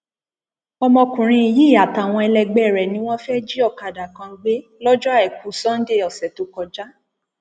ọmọkùnrin yìí àtàwọn ẹlẹgbẹ rẹ ni wọn fẹẹ jí ọkadà kan gbé lọjọ àìkú sannde ọsẹ tó kọjá